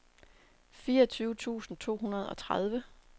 fireogtyve tusind to hundrede og tredive